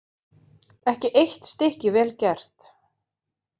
Ekki eitt stykki vel gert.